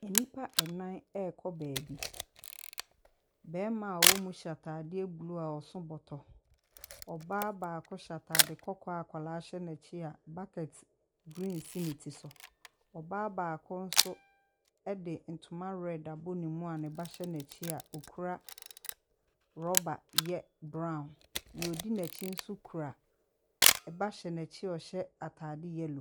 Nnipa nnam rekɔ baabi. Barima a ɔwɔ mu hyɛ atadeɛ blue a ɔso bɔtɔ. Ɔbaa baako hyɛ atadeɛ kɔkɔɔ a akwadaa hyɛ n'akyi a bucket green si ne ti so. Ɔbaa baako nso de nyoma red abɔ ne mu a ne ba hyɛ n'akyi a ɔkura rɔba ye brown. Deɛ ɔdi n'akyi nso kura, ɛba hyɛ n'akyi a ɔhyɛ atade yellow.